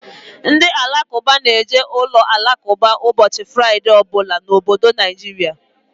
Ndị Alakụba na-eje uloalakụba ụbọchị Fraịdee ọ bụla n'obodo Naijiria.